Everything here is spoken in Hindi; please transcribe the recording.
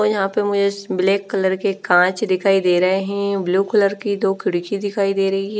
और यहाँ पे मुझे ब्लैक कलर के कांच दिखाई दे रहे है ब्लू कलर की दो खीड़की दिखाई दे रही है।